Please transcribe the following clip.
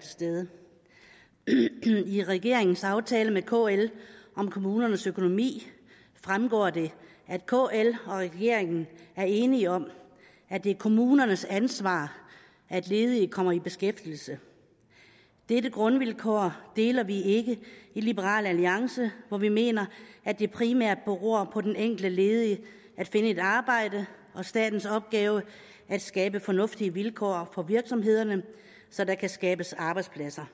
til stede i regeringens aftale med kl om kommunernes økonomi fremgår det at kl og regeringen er enige om at det er kommunernes ansvar at ledige kommer i beskæftigelse dette grundvilkår deler vi ikke i liberal alliance hvor vi mener at det primært beror på den enkelte ledige at finde et arbejde og at statens opgave er at skabe fornuftige vilkår for virksomhederne så der kan skabes arbejdspladser